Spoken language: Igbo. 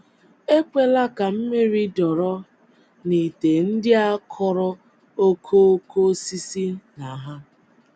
Ekwela ka mmiri dọrọ n’ite ndị a kụrụ okooko osisi na ha.